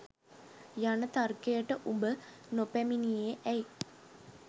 යන තර්කයට ඔබ නොපැමිණියේ ඇයි.